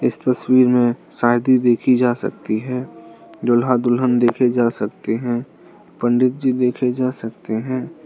इस तस्वीर में शादी देखी जा सकती है दूल्हा दुल्हन देखे जा सकते हैं पंडित जी देखे जा सकते हैं।